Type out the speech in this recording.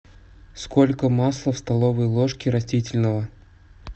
сколько масла в столовой ложке растительного